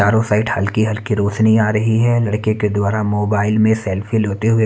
चारो साइट हल्की हल्की रोशनी आ रही है लड़के के द्वारा मोबाइल में सेल्फी लोते हुए--